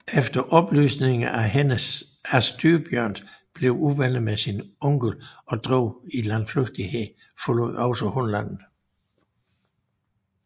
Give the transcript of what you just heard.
Efter at Styrbjørn blev uvenner med sin onkel og drog i landflygtighed forlod også hun landet